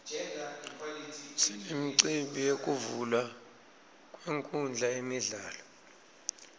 sinemicimbi yekuvulwa kwenkhundla yemidlalo